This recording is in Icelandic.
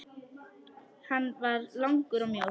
Hann var langur og mjór.